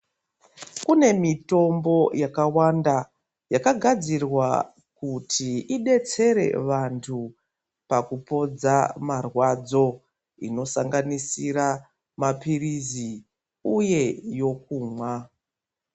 Kune mitombo yakawanda yakagadzirwa kuti idetsere vantu pakupodza marwadzo inosanganisira mapirizi uye yokumwa.